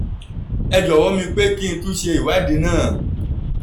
ẹ jọ̀wọ́ mi pé kí n tún ṣe ìwádìí náà